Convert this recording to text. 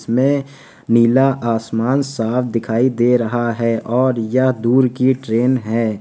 इसमें नीला आसमान साफ दिखाई दे रहा है और यह दूर की ट्रेन है।